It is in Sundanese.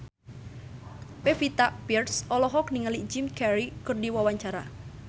Pevita Pearce olohok ningali Jim Carey keur diwawancara